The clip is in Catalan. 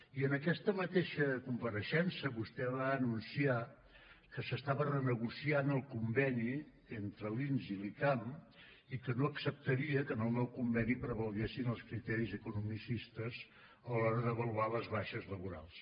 i en aquesta mateixa compareixença vostè va anunciar que s’estava renegociant el conveni entre l’inss i l’icam i que no acceptaria que en el nou conveni prevalguessin els criteris economicistes a l’hora d’avaluar les baixes laborals